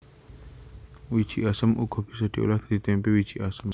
Wiji asem uga bisa diolah dadi témpé wiji asem